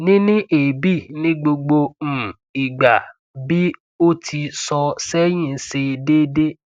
nini eebi nigbogbo um igba bi oti so sehin se dede